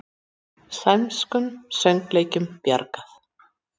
Sænskum söngleikjum bjargað